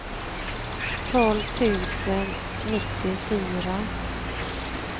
tolv tusen nittiofyra